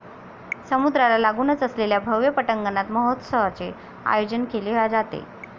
समुद्राला लागुनच असलेल्या भव्य पटांगणात महोत्सवाचे आयोजन केले जाते.